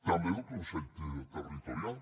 també del consell territorial